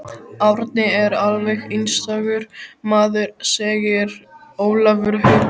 Árni er alveg einstakur maður segir Ólafur Haukur.